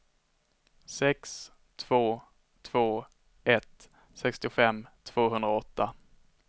sex två två ett sextiofem tvåhundraåtta